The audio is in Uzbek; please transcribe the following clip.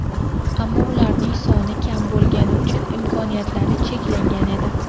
Ammo ularning soni kam bo‘lgani uchun imkoniyatlari cheklangan edi.